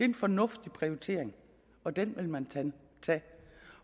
en fornuftig prioritering og den vil man tage